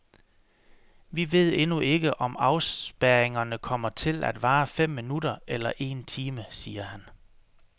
Vi ved endnu ikke, om afspærringerne kommer til at vare fem minutter eller en time, siger han.